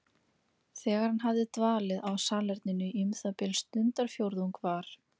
Þegar hann hafði dvalið á salerninu í um það bil stundarfjórðung var